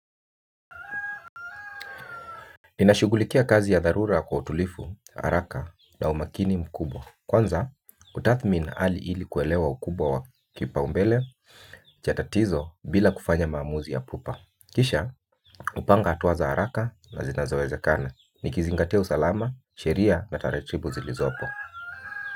Ninashughulikia kazi ya dharura kwa utulifu haraka na umakini mkubwa kwanza hutathmini hali ili kuelewa ukubwa wa kipaumbele chatatizo bila kufanya mamuzi ya pupa. Kisha, upanga atuaza haraka na zinazaweza kana. Nikizingatia usalama, sheria na taratibu zilizopo.